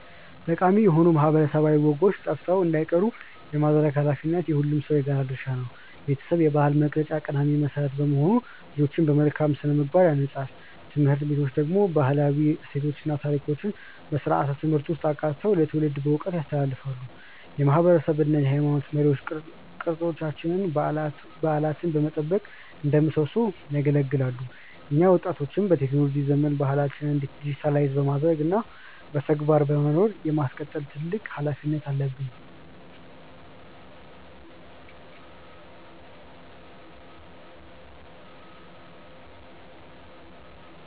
ጠቃሚ የሆኑ ማህበረሰባዊ ወጎች ጠፍተው እንዳይቀሩ የማድረግ ኃላፊነት የሁሉም ሰው የጋራ ድርሻ ነው። ቤተሰብ የባህል መቅረጫ ቀዳሚ መሰረት በመሆኑ ልጆችን በመልካም ስነ-ምግባር ያንጻል። ትምህርት ቤቶች ደግሞ ባህላዊ እሴቶችን እና ታሪኮችን በስርዓተ-ትምህርት ውስጥ አካተው ለትውልድ በዕውቀት ያስተላልፋሉ። የማህበረሰብ እና የሃይማኖት መሪዎች ቅርሶችንና በዓላትን በመጠበቅ እንደ ምሰሶ ያገለግላሉ። እኛ ወጣቶችም በቴክኖሎጂ ዘመን ባህላችንን ዲጂታይዝ በማድረግ እና በተግባር በመኖር የማስቀጠል ትልቅ ኃላፊነት አለብን።